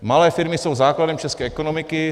Malé firmy jsou základem české ekonomiky.